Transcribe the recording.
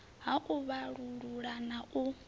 ha u vhalulula na u